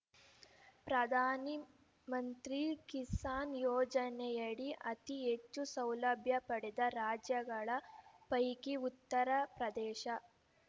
ಪ್ರಧಾನಿ ಮಂತ್ರಿ ಕಿಸಾನ್ ಯೋಜನೆಯಡಿ ಅತಿ ಹೆಚ್ಚು ಸೌಲಭ್ಯ ಪಡೆದ ರಾಜ್ಯಗಳ ಪೈಕಿ ಉತ್ತರ ಪ್ರದೇಶ